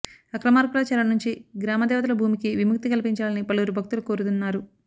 అక్రమార్కుల చెర నుంచి గ్రామ దేవతల భూమికి విముక్తి కల్పించాలని పలువురు భక్తులు కోరుతున్నారు